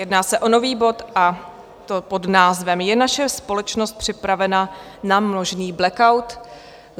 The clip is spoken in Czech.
Jedná se o nový bod, a to pod názvem Je naše společnost připravena na možný blackout?